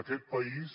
aquest país